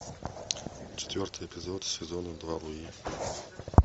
четвертый эпизод сезона два луи